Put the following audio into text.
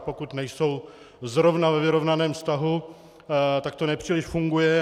A pokud nejsou zrovna ve vyrovnaném vztahu, tak to nepříliš funguje.